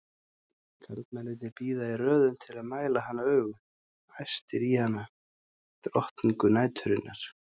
Karlmennirnir bíða í röðum til að mæla hana augum, æstir í hana, drottningu næturinnar!